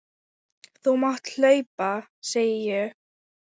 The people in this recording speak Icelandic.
Þú mátt hlaupa, segi ég.